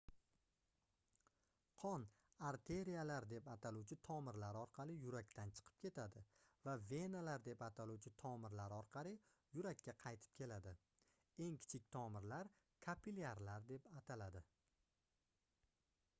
qon arteriyalar deb ataluvchi tomirlar orqali yurakdan chiqib ketadi va venalar deb ataluvchi tomirlar orqali yurakka qaytib keladi eng kichik tomirlar kapillyarlar deb ataladi